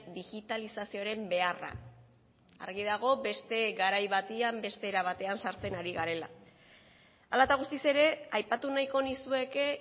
digitalizazioaren beharra argi dago beste garai batean beste era batean sartzen ari garela hala eta guztiz ere aipatu nahiko nizueke